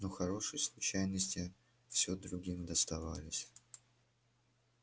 но хорошие случайности всё другим доставались